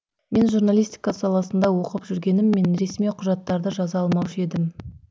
мен журналистика саласында оқып жүргеніммен ресми құжаттарды жаза алмаушы едім